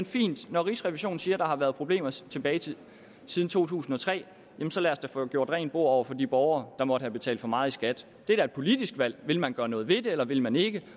fint når rigsrevisionen siger at der har været problemer tilbage til to tusind og tre så lad os da få gjort rent bord over for de borgere der måtte have betalt for meget i skat det er da et politisk valg vil man gøre noget ved det eller vil man ikke